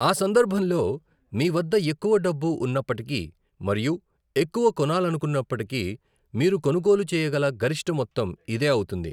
ఆ సందర్భంలో, మీవద్ద ఎక్కువ డబ్బు ఉన్నప్పటికీ మరియు ఎక్కువ కొనాలనుకున్నప్పటికీ, మీరు కొనుగోలు చేయగల గరిష్ట మొత్తం ఇదే అవుతుంది.